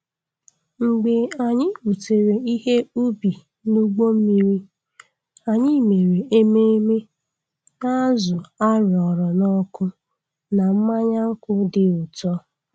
Mgbe anyị butere ihe ubi n'ụgbọ mmiri, anyị mere ememme na azụ a roara n'ọkụ na mmanya nkwụ dị ụtọ.